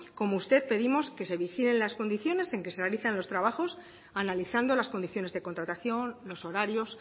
como usted pedimos que se vigilen las condiciones en las que se realizan los trabajos analizando las condiciones de contratación los horarios